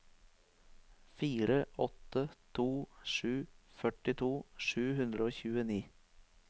fire åtte to sju førtito sju hundre og tjueni